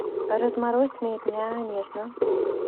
разморозь меня нежно